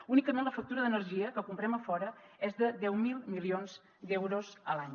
únicament la factura d’energia que comprem a fora és de deu mil milions d’euros a l’any